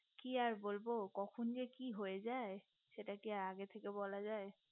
কি আর বলবো কখন যে কি হয়ে যায় সেটা কি আগে থেকে বলা যাই